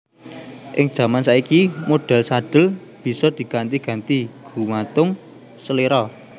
Ing jaman saiki modhèl sadhel bisa diganti ganti gumantung seléra